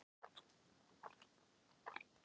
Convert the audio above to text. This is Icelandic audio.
Ekki vantaði hana orkuna, úthaldið, yfirferðina.